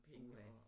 Puha